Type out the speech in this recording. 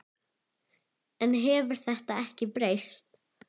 En hefur þetta ekki breyst?